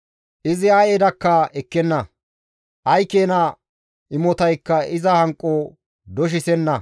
Izi ay edakka ekkenna; ay keena imotaykka iza hanqo doshisenna.